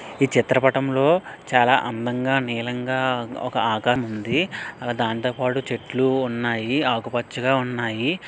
ఈ చిత్రపటంలో చాలా అందంగా నీలంగా ఒక ఆకాశం ఉంది దాంతోపాటు చెట్లు ఉన్నాయి ఆకుపచ్చగా ఉన్నాయి.